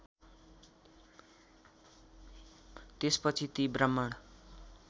त्यसपछि ती ब्रह्माण